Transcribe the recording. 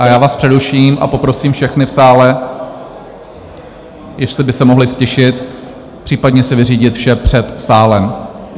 A já vás přeruším a poprosím všechny v sále, jestli by se mohli ztišit, případně si vyřídit vše před sálem.